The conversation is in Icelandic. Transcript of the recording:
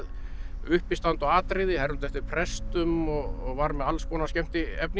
uppistand og atriði hermdi eftir prestum og var með alls konar skemmtiefni